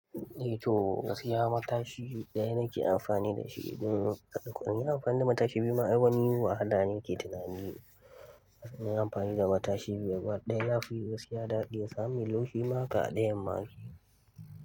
Eh to, gaskiya matashi ɗaya nake amfani da shi idan kun iya amfani da matashi biyu ma ai wani wahala yake tunani. Na yi amfani da matashi biyu ba ɗaya ba, ya fi gaskiya daɗi. Sami loche ma kaɗai ya make.